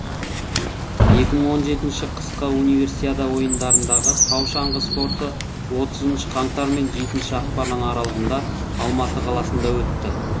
екі мың он жетінші қысқы универсиада ойындарындағы тау шаңғы спорты отызыншы қаңтар мен жетінші ақпан аралығында алматы қаласында өтті